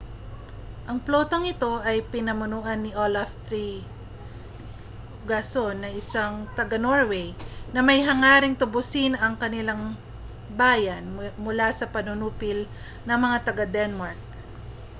ang plotang ito ay pinamunuan ni olaf trygvasson isang taga-norway na may hangaring tubusin ang kaniyang bayan mula sa panunupil ng mga taga-denmark